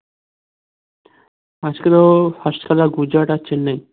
আজকে তো first খেলা গুজরাট আর চেন্নাই